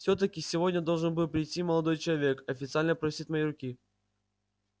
всё-таки сегодня должен был прийти молодой человек официально просить моей руки